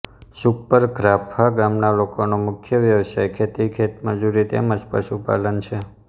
સુખપર ધ્રાફા ગામના લોકોનો મુખ્ય વ્યવસાય ખેતી ખેતમજૂરી તેમ જ પશુપાલન છે